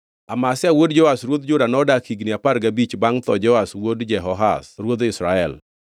Amazia wuod Joash ruodh Juda nodak higni apar gabich bangʼ tho Jehoash wuod Jehoahaz ruodh Israel.